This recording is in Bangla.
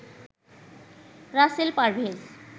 রাসেল পারভেজ